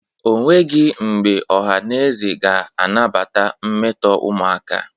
O nwegi mbe ọha mmadụ ga-anabata mmeto umụaka.